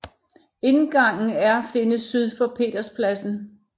Indgangen er findes syd for Peterspladsen